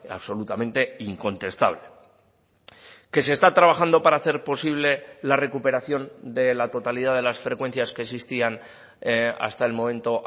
absolutamente incontestable que se está trabajando para hacer posible la recuperación de la totalidad de las frecuencias que existían hasta el momento